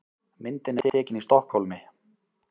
Myndin er tekin í Stokkhólmi.